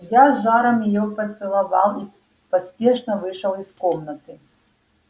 я с жаром её поцеловал и поспешно вышел из комнаты